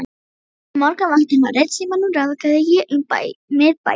Helgu og eftir morgunvaktina á Ritsímanum ráfaði ég um miðbæinn.